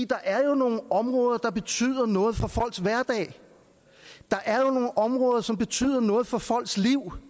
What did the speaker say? der er jo nogle områder der betyder noget for folks hverdag der er jo nogle områder som betyder noget for folks liv